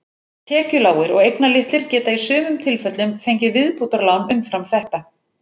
Tekjulágir og eignalitlir geta í sumum tilfellum fengið viðbótarlán umfram þetta.